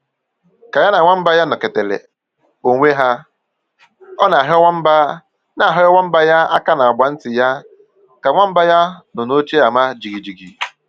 Ka ya na nwamba ya nọketere onwe ha, ọ na-ahịọ nwamba na-ahịọ nwamba ya aka n'agba nti ya ka nwamba ya nọ n'oche ama jighijighi